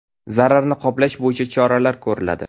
Zararni qoplash bo‘yicha choralar ko‘riladi.